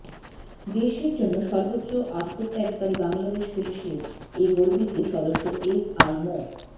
দেশের জন্য সর্বোচ্চ আত্মত্যাগকারী বাংলাদেশ পুলিশের এ গর্বিত সদস্য এসআই মো